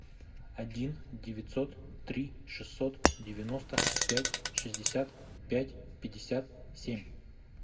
один девятьсот три шестьсот девяносто пять шестьдесят пять пятьдесят семь